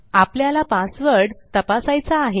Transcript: आपल्याला पासवर्ड तपासायचा आहे